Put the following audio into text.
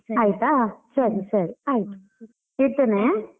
ಆಯ್ತಾ ಸರಿ ಸರಿ ಆಯ್ತು ಇಡ್ತೇನೆ.